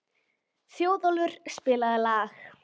Þjóðólfur, spilaðu lag.